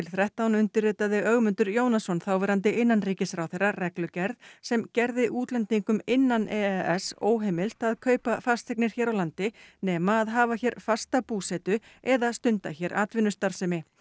þrettán undirritaði Ögmundur Jónasson þáverandi innanríkisráðherra reglugerð sem gerði útlendingum innan e e s óheimilt að kaupa fasteignir hér á landi nema að hafa hér fasta búsetu eða stunda hér atvinnustarfsemi